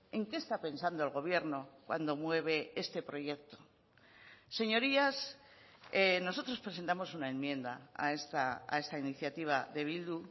en qué está pensando el gobierno cuando mueve este proyecto señorías nosotros presentamos una enmienda a esta iniciativa de bildu